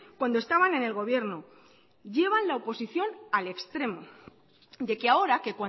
cuando estaban en el gobierno llevan la oposición al extremo de que ahora que